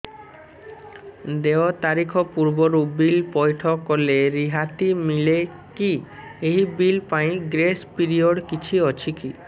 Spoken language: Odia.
ଦେୟ ତାରିଖ ପୂର୍ବରୁ ବିଲ୍ ପୈଠ କଲେ ରିହାତି ମିଲେକି ଏହି ବିଲ୍ ପାଇଁ ଗ୍ରେସ୍ ପିରିୟଡ଼ କିଛି ଅଛିକି